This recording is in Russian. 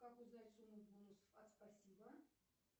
как узнать сумму бонусов от спасибо